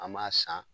An m'a san